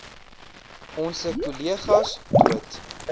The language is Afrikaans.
onse kollegas dood